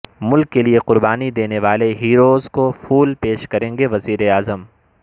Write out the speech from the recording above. ملک کے لئے قربانی دینے والے ہیروز کو پھول پیش کریں گے وزیر اعظم